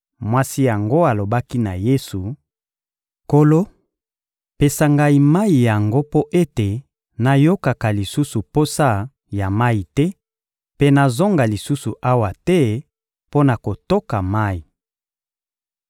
Mwasi yango alobaki na Yesu: — Nkolo, pesa ngai mayi yango mpo ete nayokaka lisusu posa ya mayi te mpe nazonga lisusu awa te mpo na kotoka mayi.